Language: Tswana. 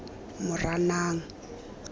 moranang